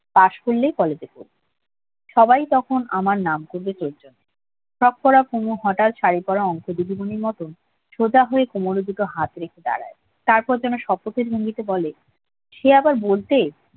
pass করলেই কলেজে পড়বো সবাই তখন আমার নাম ফ্রক পড়া পুনু হঠাৎ শাড়ি পড়া অংক দিদি মুনির মতন সপ্তাহে কোমরের দুটো হাত রেখে দাঁড়ায় তারপরে যেন ভঙ্গিতে বলে সে আবার বলতে